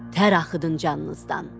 Tər axıdın canınızdan.